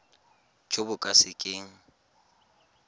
jo bo ka se keng